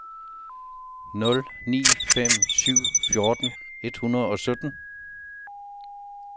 nul ni fem syv fjorten et hundrede og sytten